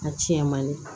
A tiɲɛ man di